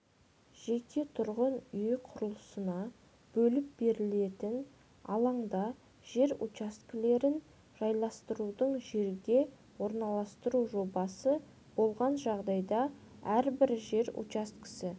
жеке тұрғын үй құрылысына бөліп берілетін алаңда жер учаскелерін жайластырудың жерге орналастыру жобасы болған жағдайда әрбір жер учаскесі